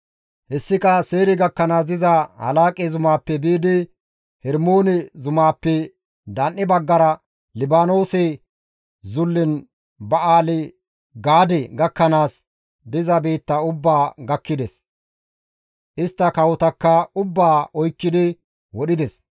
Hessika Seyre gakkanaas diza Halaaqe zumaappe biidi Hermoone zumaappe dan7e baggara Libaanoose zullen Ba7aali-Gaade gakkanaas diza biitta ubbaa gakkides. Istta kawotakka ubbaa oykkidi wodhides.